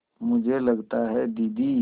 मुझे लगता है दीदी